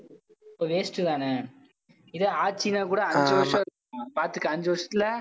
அப்ப waste தான இதே ஆட்சினா கூட அஞ்சு வருஷம் இருக்கும் பாத்துக்கோ அஞ்சு வருஷத்துல